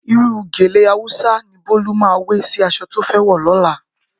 Irú gèlè Hausa ni Bólú máa wé sí aṣọ tó fẹ́ wọ̀ lọ́la